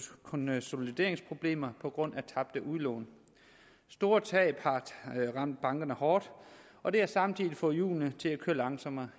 konsolideringsproblemer på grund af tabte udlån store tab har ramt bankerne hårdt og det har samtidig fået hjulene til at køre langsommere